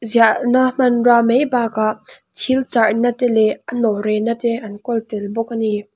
ziah na hman rua mai bak ah thil charh na te leh a nawh reh na an kawl tel bawk ani.